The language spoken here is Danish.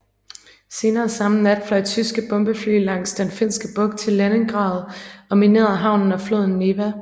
Senere samme nat fløj tyske bombefly langs Den Finske Bugt til Leningrad og minerede havnen og floden Neva